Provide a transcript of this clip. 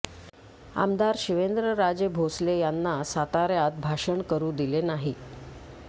आमदार शिवेंद्र राजे भोसले सातार्यात भाषण करु दिले नाही